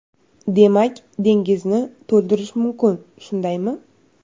Demak, dengizni to‘ldirish mumkin, shundaymi?